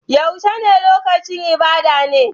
Yaushe ne lokacin ibada ne?